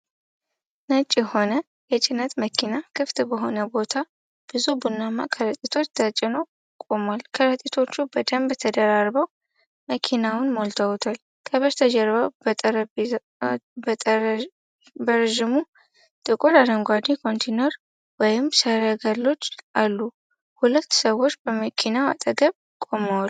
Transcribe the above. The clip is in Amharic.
ነጭ የሆነ የጭነት መኪና ክፍት በሆነ ቦታ ብዙ ቡናማ ከረጢቶች ተጭኖ ቆሟል። ከረጢቶቹ በደንብ ተደራርበው መኪናውን ሞልተውታል። ከበስተጀርባ በረዥሙ ጥቁር አረንጓዴ ኮንቲነሮች ወይም ሰረገሎች አሉ፤ ሁለት ሰዎች በመኪናው አጠገብ ቆመዋል።